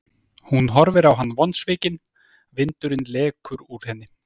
Hún horfir á hann vonsvikin, vindurinn lekur úr henni.